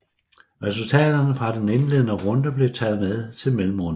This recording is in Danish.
Resultaterne fra den indledende runde blev taget med til mellemrunden